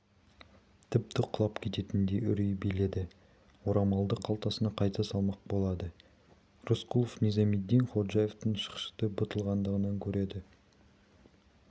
тіпті құлап кететіндей үрей биледі орамалды қалтасына қайта салмақ болады рысқұлов низамеддин ходжаевтың шықшыты бұлтылдағанын көреді